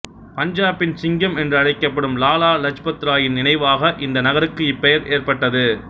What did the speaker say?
பஞ்சாபின் சிங்கம் என்றும் அழைக்கப்படும் லாலா லஜ்பத் ராயின் நினைவாக இந்த நகருக்கு இப்பெயர் ஏற்பட்டது